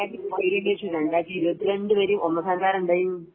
2018 ണു ശേഷം 2022 വരെ ഒന്നാം സ്ഥാനത്ത് ആരാ ഉണ്ടായെ